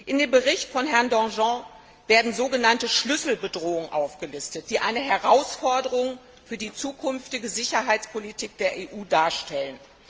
Im Bericht von Herrn Danjean werden sogenannte Schlüsselbedrohungen aufgelistet, die eine Herausforderung für die zukünftige Sicherheitspolitik der EU darstellen.